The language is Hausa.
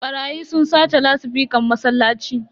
Barayi sun sace lasifican masallaci.